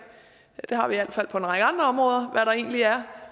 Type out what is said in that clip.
det har hvert fald på en række andre områder hvad der egentlig er